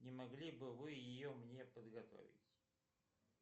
не могли бы вы ее мне подготовить